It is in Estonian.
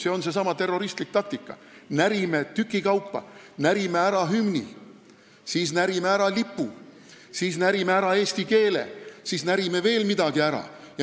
See on seesama terroristlik taktika, et närime tükikaupa: närime ära hümni, närime ära lipu, närime ära eesti keele ja siis närime veel midagi ära.